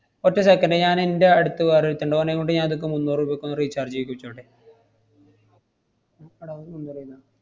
ഒറ്റ second ഞാൻ ഇന്‍റെ അടുത്ത് വേറൊരുത്തൻ ഇണ്ട്. ഓനേം കൊണ്ട് ഞാനിപ്പ മുന്നൂറ് രൂപക്കൊന്നു recharge ചെയ്യിപ്പിച്ചോട്ടെ.